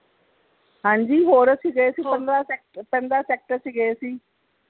ਹਾਂਜੀ ਹੋਰ ਅਸੀਂ ਗਏ ਸੀ ਪੰਦਰਾਂ sector ਪੰਦਰਾਂ sector ਅਸੀਂ ਗਏ ਸੀ